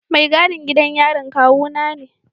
Mai gadin gidan yarin kawuna ne.